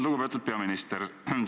Lugupeetud peaminister!